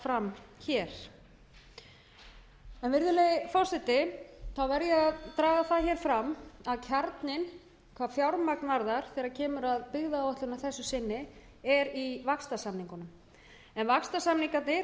fram hér virðulegi forseti ég verð að draga það fram að kjarninn hvað fjármagn varðar þegar kemur að byggðaáætlun að þessu sinni er í vaxtarsamningunum en vaxtarsamningarnir